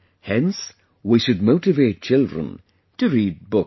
Hence, we should motivate children to read books